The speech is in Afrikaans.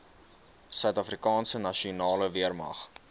suidafrikaanse nasionale weermag